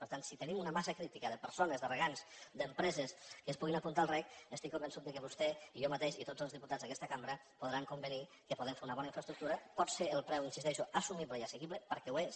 per tant si tenim una massa crítica de persones de regants d’empreses que es puguin apuntar al rec estic convençut que vostè i jo mateix i tots els diputats d’aquesta cambra podran convenir que podem fer una bona infraestructura pot ser el preu hi insisteixo assumible i assequible perquè ho és